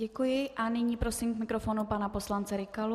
Děkuji a nyní prosím k mikrofonu pana poslance Rykalu.